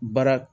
Baara